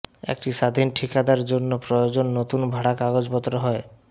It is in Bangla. একটি স্বাধীন ঠিকাদার জন্য প্রয়োজন নতুন ভাড়া কাগজপত্র হয়